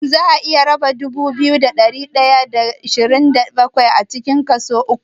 Shin za'a iya raba dubu biyu da ɗari ɗaya da ashirin da bakwai kaso uku?